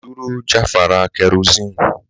Dúró jàfàrà kerosene